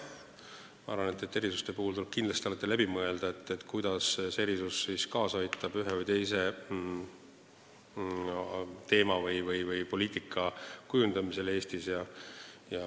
Ma arvan, et tuleb kindlasti alati läbi mõelda, kuidas see erisus aitab kaasa ühe või teise teema arengule või poliitika kujundamisele Eestis.